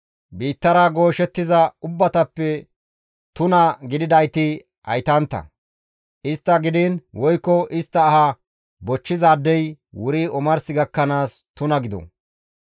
Biittara gooshettiza ubbatappe tuna gididayti haytantta; istta gidiin woykko istta aha bochchizaadey wuri omars gakkanaas tuna gido.